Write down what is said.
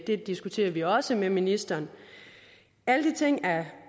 det diskuterer vi også med ministeren alle de ting er